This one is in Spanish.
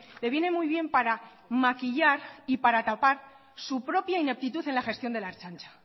le viene muy bien para maquillar y para tapar su propia ineptitud en la gestión de la ertzaintza